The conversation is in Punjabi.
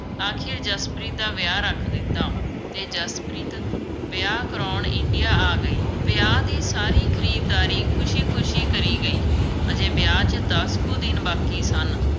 ਆਖਿਰ ਜਸਪ੍ਰੀਤ ਦਾ ਵਿਆਹ ਰੱਖ ਦਿੱਤਾ ਅਤੇ ਜਸਪ੍ਰੀਤ ਵਿਆਹ ਕਰਾਉਣ India ਆ ਗਈ। ਵਿਆਹ ਦੀ ਸਾਰੀ ਖਰੀਦਦਾਰੀ ਖੁਸ਼ੀ-ਖੁਸ਼ੀ ਕਰੀ ਗਈ, ਅਜੇ ਵਿਆਹ 'ਚ ਦਸ ਕੁ ਦਿਨ ਬਾਕੀ ਸਨ।